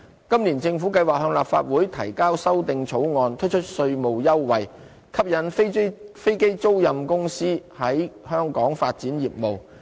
今年政府計劃向立法會提交修訂草案，推出稅務優惠，吸引飛機租賃公司在香港發展業務。